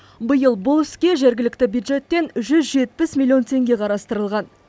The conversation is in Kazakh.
биыл бұл іске жергілікті бюджеттен жүз жетпіс миллион теңге қарастырылған